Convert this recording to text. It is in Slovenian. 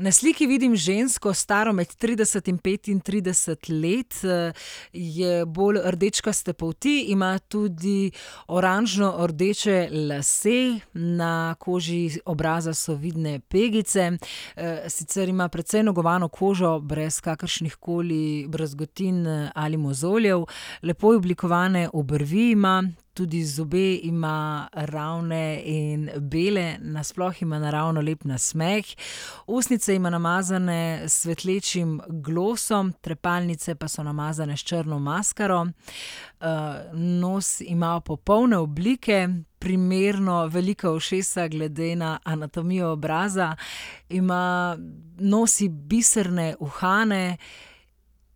Na sliki vidim žensko, staro med trideset in petintrideset let, je bolj rdečkaste polti, ima tudi oranžnordeče lase. Na koži obraza so vidne pegice. sicer ima precej negovano kožo brez kakršnihkoli brazgotin ali mozoljev. Lepo oblikovane obrvi ima, tudi zobe ima ravne in bele. Na sploh ima naravno lep nasmeh. Ustnice ima namazane s svetlečim glosom, trepalnice pa so namazane s črno maskaro. nos ima popolne oblike, primerno velika ušesa glede na anatomijo obraza. Ima, nosi biserne uhane